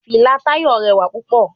Fìlà Táyọ̀ rẹwà púpọ̀.